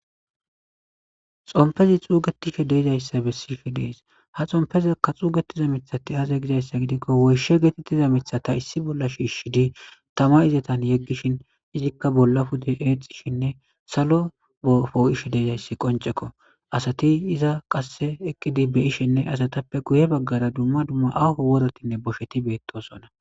Xompezi xuugetishe deizayssa be sife dees ha xompezakka xuugetiza mithati aza gizayssa gidikko woyshe geetettiza mithata issi bolla shiishi di tama izatan yeggishin izikka bolla pude eexxishinne salo bofo ishe deizayssi qoncekko asati iza qasse eqqidi be ishenne asatappe guye baggara dumma dumma afu worotinne bosheti beettosona.